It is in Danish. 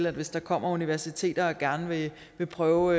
at hvis der kommer universiteter og gerne vil prøve